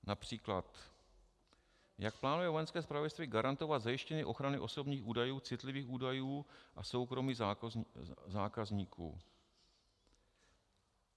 Například jak plánuje Vojenské zpravodajství garantovat zajištění ochrany osobních údajů, citlivých údajů a soukromí zákazníků?